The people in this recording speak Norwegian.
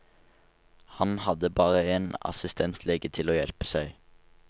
Han hadde bare én assistentlege til å hjelpe seg.